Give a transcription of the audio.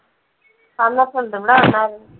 വന്നിട്ടുണ്ട് ഇവിടെ വന്നായിരുന്നു